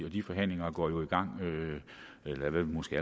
og de forhandlinger går jo i gang eller er måske